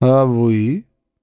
а вы